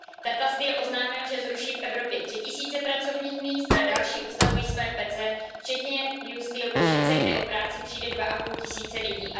Tata Steel oznámil, že zruší v Evropě tři tisíce pracovních míst a další odstavují své pece, včetně U. S. Steel Košice, kde o práci přijde dva a půl tisíce lidí.